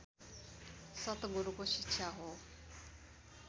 सतगुरूको शिक्षा हो